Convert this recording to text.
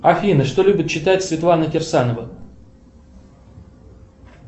афина что любит читать светлана кирсанова